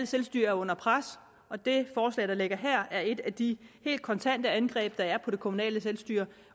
selvstyre er under pres og det forslag der ligger her er et af de helt kontante angreb der er på det kommunale selvstyre